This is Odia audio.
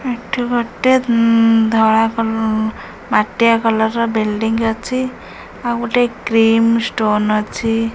ଏଠି ଗୋଟେ ହୁଁ ଧଳା କଲ ମାଟିଆ କଲର ର ବିଲଡିଂ ଅଛି ଆଉ ଗୋଟେ କ୍ରିମ୍ ଷ୍ଟୋନ ଅଛି।